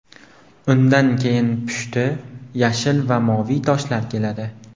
Undan keyin pushti, yashil va moviy toshlar keladi.